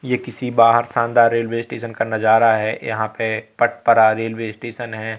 ये किसी बाहर शानदार रेलवे स्टेशन का नजारा है यहां पे पटपरा रेलवे स्टेशन है।